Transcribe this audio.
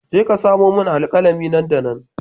Je ka sami alkalami nan da nan